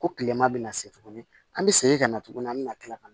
Ko kilema bɛna se tuguni an bɛ segin ka na tuguni an bɛ na kila ka